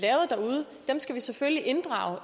skal selvfølgelig inddrage